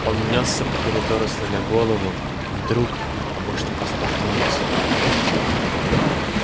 он нёсся по коридору сломя голову и вдруг обо что-то споткнулся